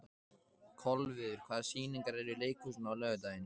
Kolviður, hvaða sýningar eru í leikhúsinu á laugardaginn?